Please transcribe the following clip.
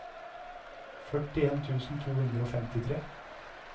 førtien tusen to hundre og femtitre